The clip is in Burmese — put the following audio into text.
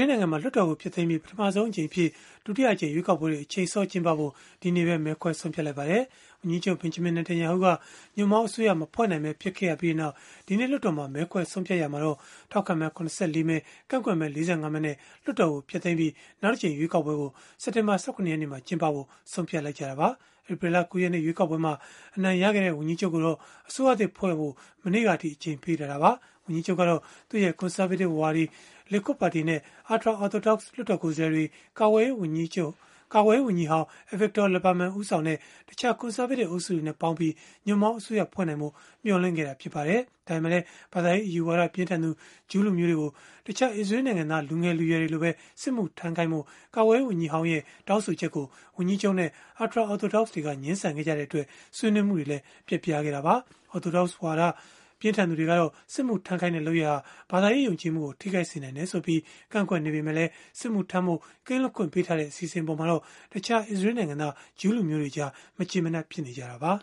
ေးလ်နိုင်ငံမှာ လွှတ်တော်ကို ဖျက်သိမ်းပြီး၊ ပထမဆုံးအကြိမ်အဖြစ် ဒုတိယအကြိမ် ရွေးကောက်ပွဲတွေ အချိန်စောကျင်းပဖို့ ဒီနေ့ပဲ မဲခွဲဆုံးဖြတ်လိုက်ပါတယ်။ ဝန်ကြီးချုပ် Benjamin Netanyahu က ညွန့်ပေါင်းအစိုးရ မဖွဲ့နိုင်ပဲ ဖြစ်ခဲ့ရပြီးနောက်၊ ဒီကနေ့ လွှတ်တော်မှာ မဲခွဲဆုံးဖြတ်ရာမှာတော့ ထောက်ခံမဲ ၇၄ မဲ ကန့်ကွက်မဲ ၄၅ မဲနဲ့ လွှတ်တော်ကို ဖျက်သိမ်းပြီး၊ နောက်တကြိမ် ရွေးကောက်ပွဲကို စက်တင်ဘာလ ၁၇ ရက်န့မှာ ကျင်းပဖို့ ဆုံးဖြတ်ခဲ့ကြတာပါ။ ဧပြီလ ၉ ရက်နေ့ ရွေးကောက်ပွဲမှာ အနိုင်ရခဲ့တဲ့ ဝန်ကြီးချုပ်ကိုတော့ အစိုးရသစ်ဖွဲ့ဖို့ မနေ့ကအထိ အချိန်ပေးထားတာပါ။ ဝန်ကြီးချုပ်ကတော့ သူ့ရဲ့ ကွန်ဆာဗေးတစ်ဝါဒီ Likud ပါတီနဲ့ ultra-Orthodox လွှတ်တော်ကိုယ်စားလှယ်တွေ၊ ကာကွယ်ရေးဝန်ကြီးဟောင်း Avigdor Lieberman ဦးဆောင်တဲ့ တခြား ကွန်ဆာဗေးတစ် အုပ်စုတွေနဲ့ပေါင်းပြီး ညွန့်ပေါင်းအစိုးရဖွဲ့နိုင်ဖို့ မျှော်လင့်ခဲ့တာ ဖြစ်ပါတယ်။ ဒါပေမဲ့လည်း ဘာသာရေးအယူအဆ ပြင်းထန်သူ ဂျုးလူမျိုးတွေကို တခြားအစ္စရေးလ်နိုင်ငံသား လူငယ်တွေလိုပဲ စစ်မှုထမ်းခိုင်းဖို့ ကာကွယ်ရေးဝန်ကြီးဟောင်း Lieberman ရဲ့ တောင်းဆိုချက်ကို ဝန်ကြီးချုပ်နဲ့ ultra-Orthodox တွေက ငြင်းဆန်ခဲ့ကြတဲ့အတွက် ဆွေးနွေးမှုတွေလည်း ပျက်ပြားခဲ့တာပါ။ Orthodox ဝါဒအယူအဆ ပြင်းထန်သူတွေကတော့ စစ်မှုထမ်းခိုင်းတဲ့ လုပ်ရပ်ဟာ ဘာသာရေး ယုံကြည်မှုကို ထိခိုက်စေနိုင်တယ်ဆိုပြီး ကန့်ကွက်နေကြပေမဲ့၊ စစ်မှုထမ်းဖို့ ကင်းလွတ်ခွင့်ပေးထားတဲ့ အစီအစဉ်အပေါ်မှာတော့ တခြား အစ္စရေးလ်နိုင်ငံသား ဂျုးလူမျိုးတွေကြား မကျေမနပ် ဖြစ်နေကြတာပါ